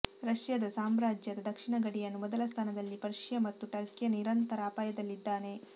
ರಷ್ಯಾದ ಸಾಮ್ರಾಜ್ಯದ ದಕ್ಷಿಣ ಗಡಿಯನ್ನು ಮೊದಲ ಸ್ಥಾನದಲ್ಲಿ ಪರ್ಶಿಯ ಮತ್ತು ಟರ್ಕಿಯ ನಿರಂತರ ಅಪಾಯದಲ್ಲಿದ್ದಾನೆ